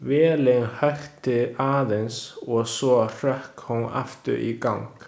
Vélin hökti aðeins og svo hrökk hún aftur í gang.